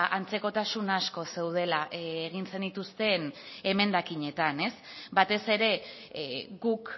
ba antzekotasun asko zeudela egin zenituzten emendakinetan ez batez ere guk